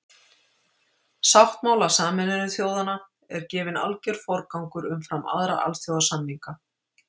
Sáttmála Sameinuðu þjóðanna er gefinn alger forgangur umfram aðra alþjóðasamninga.